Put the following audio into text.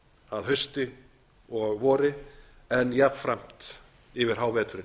að hausti og vori en jafnframt yfir háveturinn